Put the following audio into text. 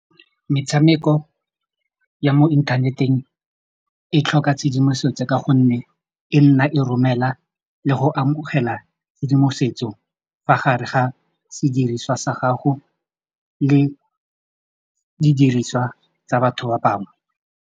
Metshameko ya mo inthaneteng e tlhoka tshedimosetso ka gonne e nna e romela le go amogela tshedimosetso fa gare ga sediriswa sa gago le didiriswa tsa batho ba bangwe.